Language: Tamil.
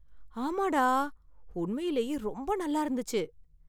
ஆமாடா, உண்மையிலேயே ரொம்ப நல்லா இருந்துச்சு.